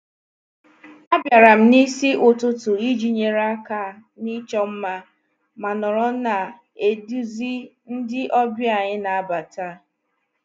Abịara m n'isi ụtụtụ iji nyere aka n'ịchọ mma ma nọrọ na-eduzi ndị ọbịa na-abata